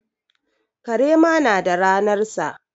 Kare ma na da ranarsa.